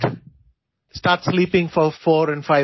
ഇതാണ് ഏറ്റവും പ്രധാനപ്പെട്ട ഫിറ്റ്നസ് ടിപ്പ്